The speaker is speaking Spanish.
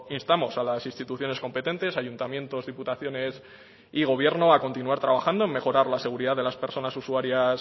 instamos a las instituciones competentes ayuntamientos diputaciones y gobierno a continuar trabajando en mejorar la seguridad de las personas usuarias